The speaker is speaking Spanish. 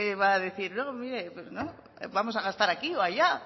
va a decir no mire pues no vamos a gastar aquí o allá